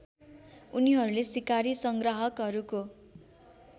उनीहरूले सिकारी सङ्ग्राहकहरूको